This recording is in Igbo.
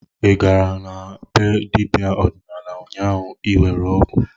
Ị gara na be dibịa ọdịnala ụnyaahụ iwere ọgwụ?